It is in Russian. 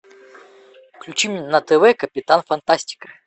включи мне на тв капитан фантастика